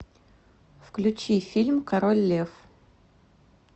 включи фильм король лев